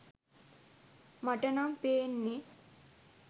මටනම් පේන්නේ!